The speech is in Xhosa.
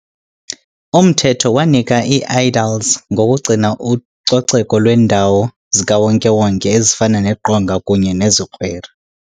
Umthetho wanika ii -aediles ngokugcina ucoceko lweendawo zikawonke-wonke ezifana neqonga kunye nezikwere.